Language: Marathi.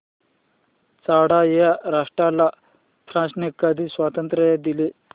चाड या राष्ट्राला फ्रांसने कधी स्वातंत्र्य दिले